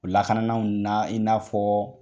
O lakana naw la i n'afɔ